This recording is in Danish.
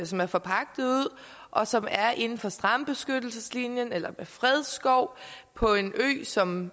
som er forpagtet ud og som er inden for strandbeskyttelseslinjen eller ved fredsskov på en ø som